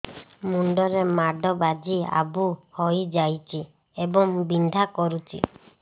ମୁଣ୍ଡ ରେ ମାଡ ବାଜି ଆବୁ ହଇଯାଇଛି ଏବଂ ବିନ୍ଧା କରୁଛି